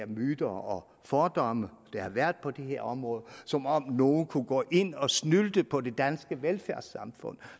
myter og fordomme der har været på det her område som om nogen kunne gå ind og snylte på det danske velfærdssamfund